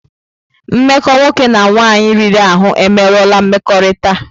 Mmekọ nwoke na nwaanyị riri ahụ emerụọla mmekọrịta.